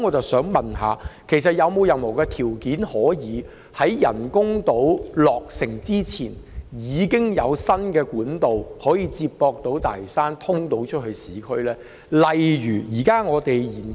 我想問特首，其實有否任何條件可以在人工島落成前，提供接駁大嶼山與市區的新幹道？